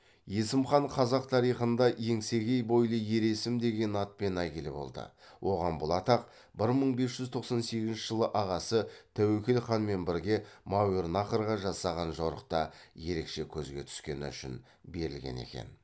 есім хан қазақ тарихында еңсегей бойлы ер есім деген атпен әйгілі болды оған бұл атақ бір мың бес жүз тоқсан сегізінші жылы ағасы тәуекел ханмен бірге мауреннахрға жасаған жорықта ерекше көзге түскені үшін берілген екен